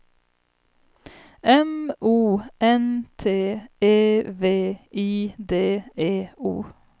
M O N T E V I D E O